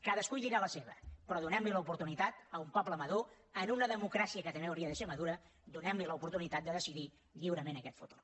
cadascú hi dirà la seva però donem li l’oportunitat a un poble madur en una democràcia que també hauria de ser madura donem li l’oportunitat de decidir lliurement aquest futur